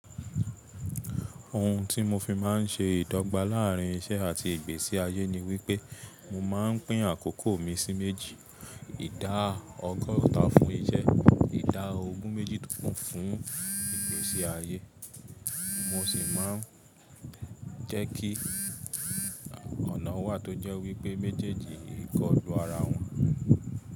Ohun tí mo fi má n ṣe ìdọ́gba láàrín iṣẹ́ àti ìgbésí ayé ni wípé mo má n pín àkókò mi sí méjì. Ìdá ọgọ́ta fún iṣẹ́, ìdá ogún méjìdínkùn fún ìgbésí ayé. Mo sì má n jẹ́ kí ọ̀nà wà tó jẹ́ wípé méjèèjì kọlu ara wọn.